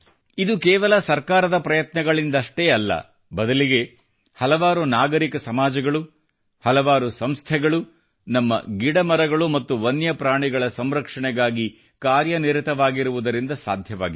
ಇದು ಕೇವಲ ಸರ್ಕಾರದ ಪ್ರಯತ್ನಗಳಿಂದಷ್ಟೇ ಅಲ್ಲ ಬದಲಿಗೆ ಹಲವಾರು ನಾಗರಿಕ ಸಮಾಜಗಳು ಹಲವಾರು ಸಂಸ್ಥೆಗಳು ನಮ್ಮ ಗಿಡಮರಗಳು ಮತ್ತು ವನ್ಯಪ್ರಾಣಿಗಳ ಸಂರಕ್ಷಣೆಗಾಗಿ ಕಾರ್ಯನಿರತವಾಗಿರುವುದರಿಂದ ಸಾಧ್ಯವಾಗಿದೆ